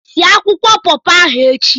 Sie akwụkwọ pọpọ ahụ echi!